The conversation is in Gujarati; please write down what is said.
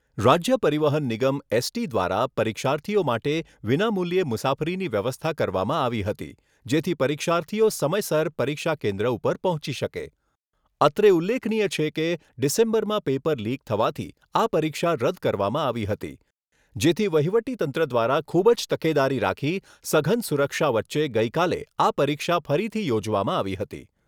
રાજ્ય પરિવહન નિગમ એસટી દ્વારા પરીક્ષાર્થીઓ માટે વિના મૂલ્યે મુસાફરીની વ્યવસ્થા કરવામાં આવી હતી, જેથી પરીક્ષાર્થીઓ સમયસર પરીક્ષા કેન્દ્ર ઉપર પહોંચી શકે. અત્રે ઉલ્લેખનીય છે કે, ડિસેમ્બરમાં પેપર લીક થવાથી આ પરીક્ષા રદ કરવામાં આવી હતી, જેથી વહીવટીતંત્ર દ્વારા ખૂબ જ તકેદારી રાખી સઘન સુરક્ષા વચ્ચે ગઈકાલે આ પરીક્ષા ફરીથી યોજવામાં આવી હતી.